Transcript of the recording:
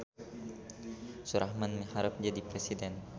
Surahman miharep jadi presiden